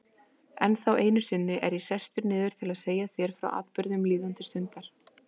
Ennþá einu sinni er ég sestur niður til að segja þér frá atburðum líðandi stundar.